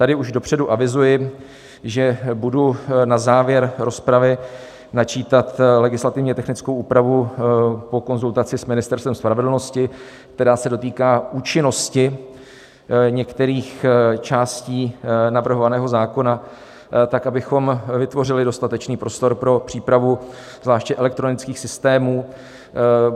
Tady už dopředu avizuji, že budu na závěr rozpravy načítat legislativně technickou úpravu po konzultaci s Ministerstvem spravedlnosti, která se dotýká účinnosti některých částí navrhovaného zákona, tak abychom vytvořili dostatečný prostor pro přípravu zvláště elektronických systémů.